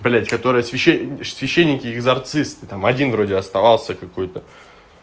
блядь которая с вященники экзорцисты там один вроде оставался какой-то